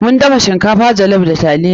Mun dafa shinkafa jollof da taliya.